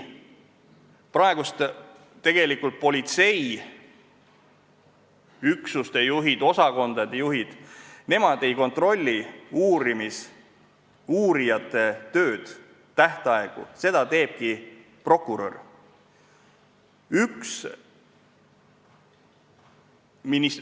Praegu tegelikult politseiüksuste, osakondade juhid ei kontrolli uurijate tööd ega tähtaegu, seda teebki prokurör.